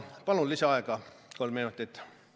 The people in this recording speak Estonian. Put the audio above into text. Palun lisaaega kolm minutit!